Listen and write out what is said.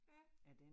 Ja